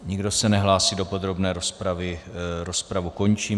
Nikdo se nehlásí do podrobné rozpravy, rozpravu končím.